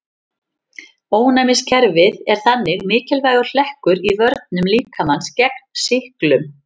Ónæmiskerfið er þannig mikilvægur hlekkur í vörnum líkamans gegn sýklum.